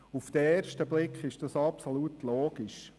Auf den ersten Blick ist das absolut logisch.